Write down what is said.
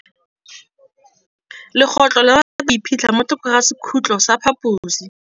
Legôtlô le rata go iphitlha mo thokô ga sekhutlo sa phaposi.